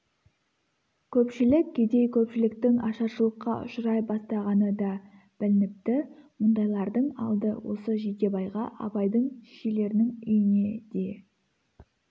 көпшілік кедей көпшіліктің ашаршылыққа ұшырай бастағаны да білініпті мұндайлардың алды осы жидебайға абайдың шешелерінің үйіне де